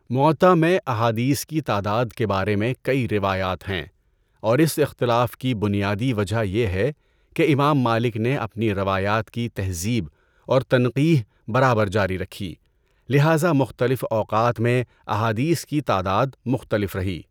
مُوَطّا میں احادیث کی تعداد کے بارے میں کئی روایات ہیں اور اس اختلاف کی بنیادی وجہ یہ ہے کہ امام مالک نے اپنی روایات کی تہذیب اور تنقیح برابر جاری رکھی، لہذا مختلف اوقات میں احادیث کی تعداد مختلف رہی۔